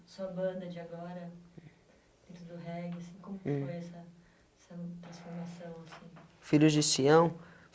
Sua banda de agora, dentro do reggae assim, hum como foi essa...essa transformação assim? Filhos de Sião